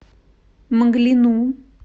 мглину